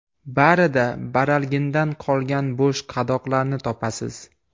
Barida baralgindan qolgan bo‘sh qadoqlarni topasiz”.